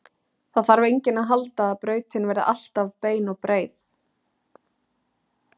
Það þarf enginn að halda að brautin verði alltaf bein og breið.